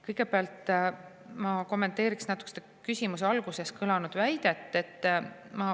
" Kõigepealt, ma kommenteeriksin küsimuse alguses kõlanud väidet.